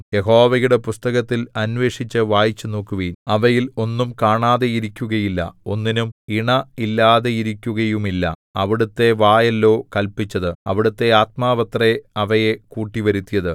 യഹോവയുടെ പുസ്തകത്തിൽ അന്വേഷിച്ചു വായിച്ചു നോക്കുവിൻ അവയിൽ ഒന്നും കാണാതിരിക്കുകയില്ല ഒന്നിനും ഇണ ഇല്ലാതിരിക്കുകയുമില്ല അവിടുത്തെ വായല്ലയോ കല്പിച്ചത് അവിടുത്തെ ആത്മാവത്രേ അവയെ കൂട്ടിവരുത്തിയത്